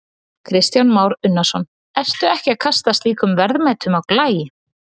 Kristján Már Unnarsson: Ertu ekki að kasta slíkum verðmætum á glæ?